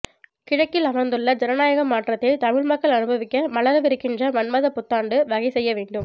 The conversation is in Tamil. கிழக்கில் மலர்ந்துள்ள ஜனநாயக மாற்றத்தில் தமிழ்மக்கள் அனுபவிக்க மலரவிருக்கின்ற மன்மத புத்தாண்டு வகை செய்ய வேண்டும்